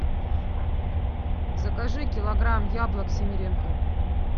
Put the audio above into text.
закажи килограмм яблок симиренко